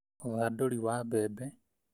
Uthandũri wa mbembe